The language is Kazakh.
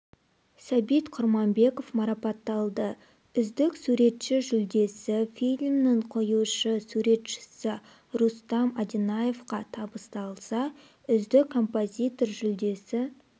сәбит құрманбеков марапатталды үздік суретші жүлдесі фильмнің қоюшы суретшісі рустам одинаевқа табысталса үздік композитор жүлдесі